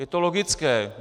Je to logické.